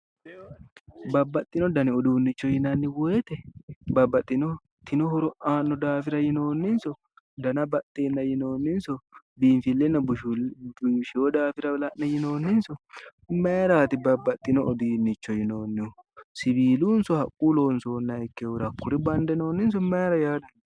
Babbaxxino dani uduunnicho yinanni woyte babbaxxitino horo aanno daafira yinoonninso dana baxxeenna yinoonninso biifeyoonna busheyo daafira la'ne yinoonninso mayraati babbaxxeyo uduunnicho yinoonnihu siilunna haqquyi loonsoonni daafira yinoonninso mayra yinoonni